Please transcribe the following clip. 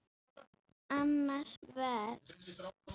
Annað vers.